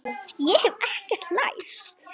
Ég hef ekkert lært.